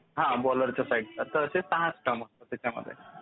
हां बॉलरच्या साईडचं तर असे सहा स्टंप्स असतात.